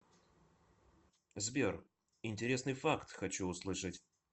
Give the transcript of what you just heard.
сбер интересный факт хочу услышать